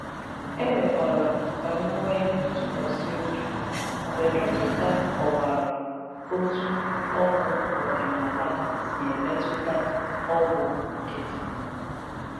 E mekwàrà m ka m nwee ntụkwàsị obi mgbe dọkịta kọwàrà otú ọgwụ ọdịnala si emetụta ọgwụ nkịtị.